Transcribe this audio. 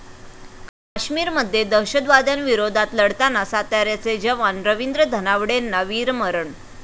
काश्मीरमध्ये दहशतवाद्यांविरोधात लढताना साताऱ्याचे जवान रवींद्र धनावडेंना वीरमरण